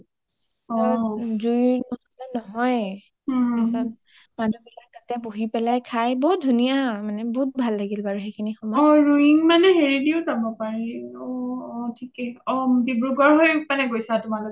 জুই নহলে নহয়ে ওম মানুহ বিলাকে তাতে বহি পেলাই খাই বহুত ধুনীয়া মানে বহুত ভাল লাগিল বাৰু সেই সিনি সময় অ ৰোয়িং মানে হেৰিৰেও যাব পাৰি অ অ থিকেই ডিব্ৰুগড় হৈ গৈছা মানে তোমালোকে